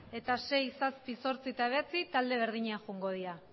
eta sei zazpi zortzi eta bederatzi talde berdinean joango dira